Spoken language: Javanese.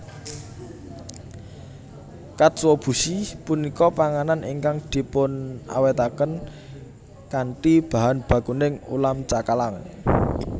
Katsuobushi punika panganan ingkang dipunawètaken kanthi bahan bakuning ulam cakalang